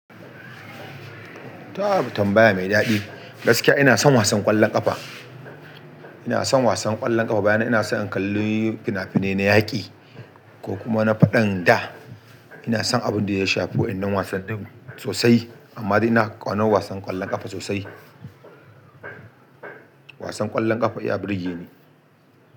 Tab tambaya mai daɗi, gaskiya ina son wasan ƙwallon ƙafa. Ina son wasan ƙwallon ƙafa, bayan nan ina so in kalli fina-finai na yaƙi ko kuma na faɗan da, ina son abin da ya shafi wa'innan wasannin sosai. Amma dai ina ƙaunar wasan ƙwallon ƙafa sosai. Wasan ƙwallon ƙafa ya burge ni.